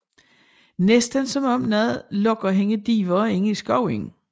Næsten som om noget lokker hende dybere ind i skoven